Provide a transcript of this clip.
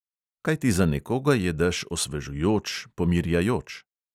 Kajti za nekoga je dež osvežujoč, pomirjajoč …